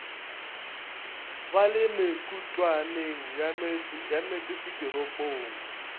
ba le mekutwaneng ya metsesetoropong